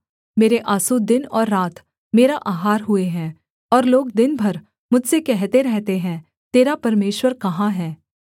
मेरे आँसू दिन और रात मेरा आहार हुए हैं और लोग दिन भर मुझसे कहते रहते हैं तेरा परमेश्वर कहाँ है